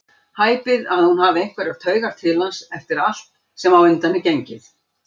Hæpið að hún hafi einhverjar taugar til hans eftir allt sem á undan er gengið.